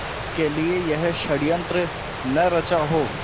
के लिए यह षड़यंत्र न रचा हो